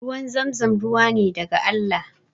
Ruwan zamzam ruwa ne daga Allah